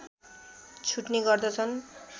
छुट्ने गर्दछन्